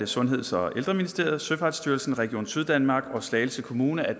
sundheds og ældreministeriet søfartsstyrelsen region syddanmark og slagelse kommune